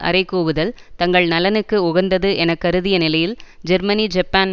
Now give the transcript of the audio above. அறைகூவுதல் தங்கள் நலனக்கு உகந்தது என கருதிய நிலையில் ஜெர்மனி ஜப்பான்